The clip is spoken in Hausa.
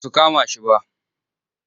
Ba su kama shi ba.